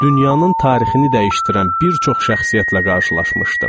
Dünyanın tarixini dəyişdirən bir çox şəxsiyyətlə qarşılaşmışdım.